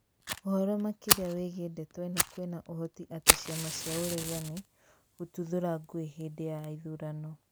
Ũhoro makĩria wĩgiĩ ndeto ĩno kwĩna uhoti atĩ ciama cia ũregani kũtuthũra ngũĩ hĩndĩ ya ithurano